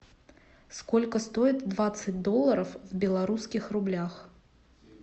сколько стоит двадцать долларов в белорусских рублях